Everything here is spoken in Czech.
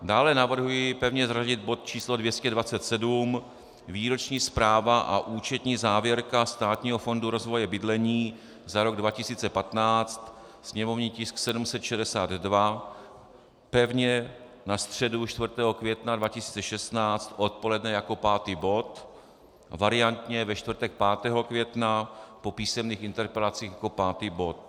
Dále navrhuji pevně zařadit bod číslo 227 - Výroční zpráva a účetní závěrka Státního fondu rozvoje bydlení za rok 2015, sněmovní tisk 762, pevně na středu 4. května 2016 odpoledne jako pátý bod, variantně ve čtvrtek 5. května po písemných interpelacích jako pátý bod.